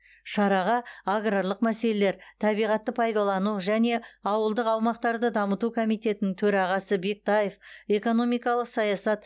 шараға аграрлық мәселелер табиғатты пайдалану және ауылдық аумақтарды дамыту комитетінің төрағасы бектаев экономикалық саясат